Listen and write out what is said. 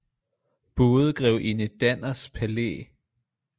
Både grevinde danners palæ